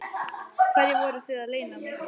Hverju voruð þið að leyna mig?